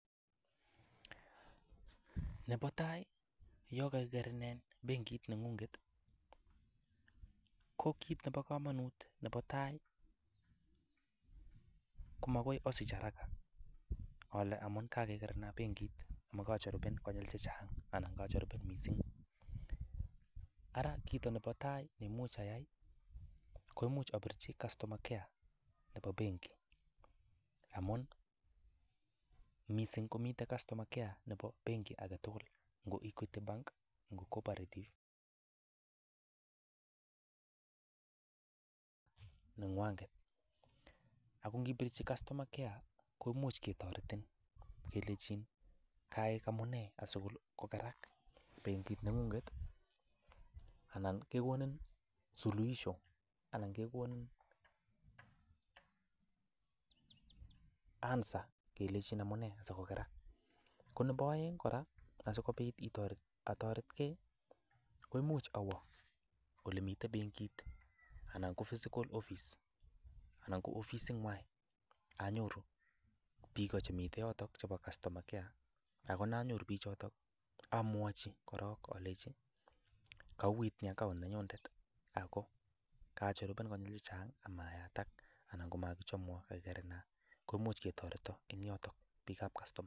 Nebo tai yon kagikerenin bengit neng'ung'et, ko kit nebo komonut nebo tai komagoi asich haraka ale amun kagekerenan bengit, mogoi ajaribunen konyil chechang anan ajaribunen kot mising. Ara kit nebo tai neimuch ayai koimuch abirchi customer care nebo benkit. Amun misIng komiten customer care nebo benkit age tugul, ngo Equity Bank, ngo Cooperative, nengwanet. Ago ngipirchi customer care koimuch ketoretin kelenchin amune asikokerak benkit neng'ung. Anan kegonin suluhisho anan kegonin answer kelenchin amune asikokerak. Ko nebo oeng kora asikobit atoretge, koimuch awo olemiten benkit anan ko physical office anan ko ofisinywan anyoru biik chemiten yoto chebo customer care ak yanyoru choto amwachi korong alenchi kouiyt account nenyunet ago kajaribunen konyil chechang ama yatak, mogichomwon kagikerenan, komuch ketoreton en yoton biikab customer care.